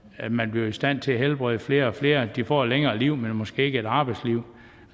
at man bliver i stand til at helbrede flere og flere de får at længere liv men måske ikke et arbejdsliv